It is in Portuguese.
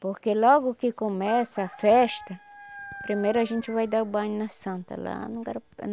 Porque logo que começa a festa, primeiro a gente vai dar o banho na Santa, lá no